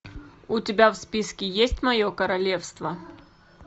у тебя в списке есть мое королевство